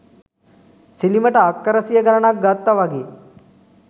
සිලිමට අක්කර සිය ගණනක් ගත්ත වගේ.